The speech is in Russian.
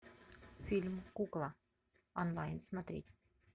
фильм кукла онлайн смотреть